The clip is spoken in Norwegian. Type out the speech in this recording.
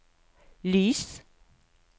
lys